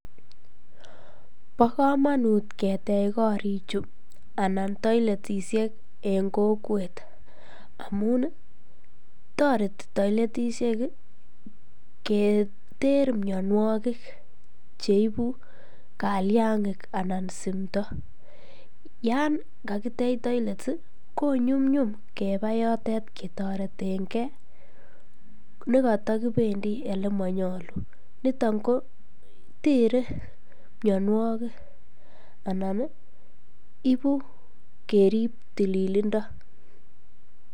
Bokomonut ketech korichu anan toiletishek en kokwet amun toreti toiletishek keter mionwokik cheibu kaliang'ik anan simto, yoon kakitech toilets ko nyumnyum kebaa yotet ketoreteng'e nekotokibendi olemonyolu niton ko teree mionwokik anan ibuu kerib tililindo.